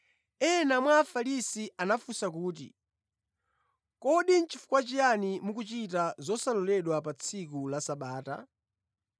Ena mwa Afarisi anafunsa kuti, “Kodi nʼchifukwa chiyani mukuchita zosaloledwa pa tsiku la Sabata?”